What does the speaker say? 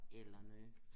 Eller noget